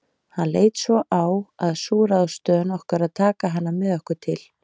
Hann leit svo á að sú ráðstöfun okkar að taka hana með okkur til